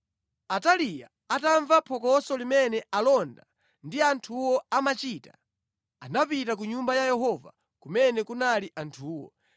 Ataliya atamva phokoso limene alonda ndi anthuwo amachita, anapita ku Nyumba ya Yehova kumene kunali anthuwo.